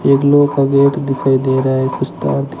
एक लोग का गेट दिखाई दे रहा है कुछ तार--